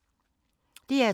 DR2